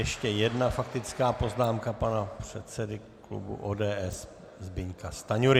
Ještě jedna faktická poznámka pana předsedy klubu ODS Zbyňka Stanjury.